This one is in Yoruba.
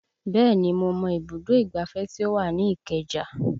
Bẹ́ẹ̀ni mo mọ ibùdó ìgbáfẹ́ tí ó wà ní ìkeja